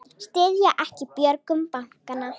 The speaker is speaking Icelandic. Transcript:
Styðja ekki björgun bankanna